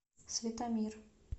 светомир